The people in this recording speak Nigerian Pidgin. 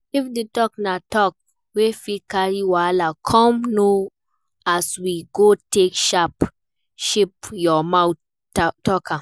If di talk na talk wey fit carry wahala come know as you go take shape your mouth talk am